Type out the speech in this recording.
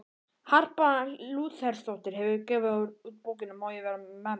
Harpa Lúthersdóttir hefur gefið út bókina Má ég vera memm?